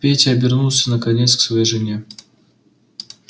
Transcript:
петя обернулся наконец к своей жене